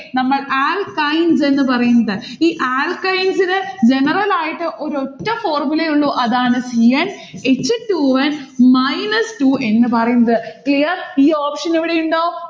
നമ്മൾ alkynes എന്ന് പറയുന്നത്. ഈ alkynes ന് general ആയിട്ട് ഒരൊറ്റ formula എ ഉള്ളു. അതാണ് c n h two n minus two എന്ന് പറയുന്നത്. clear. ഈ option ഇവിടെ ഉണ്ടോ?